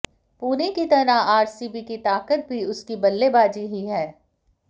पुणे की तरह आरसीबी की ताकत भी उसकी बल्लेबाजी ही है